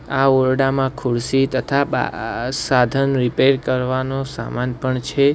આ ઓરડામાં ખુરશી તથા બાઆઆ સાધન રીપેર કરવાનો સામાન પણ છે.